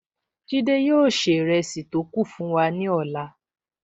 Jide yóò ṣe ìrẹsì tó kù fún wa ní ọ̀la